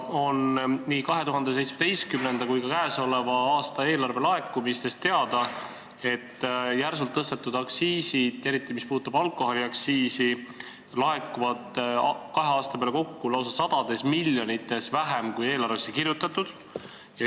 Nii 2017. kui ka käesoleva aasta eelarve laekumistest on teada, et järsult tõstetud aktsiise, eriti alkoholiaktsiisi laekub kahe aasta peale kokku lausa sadu miljoneid vähem, kui eelarvesse kirjutatud.